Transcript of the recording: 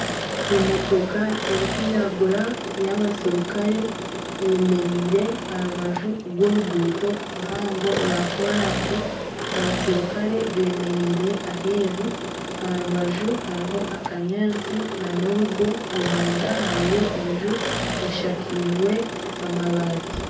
Emotoka erikwiragura y'abasirikare eyemereire aha rubaju rw'oruguuto ruhango rwa koransi abasirikare bemereire aheru aha rubaju hariho akanyaantsi nana orugo omunda hariyo enju eshakirwe amabati.